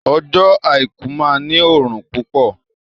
Ọjọ́ àìkú máa ní òrùn púpọ̀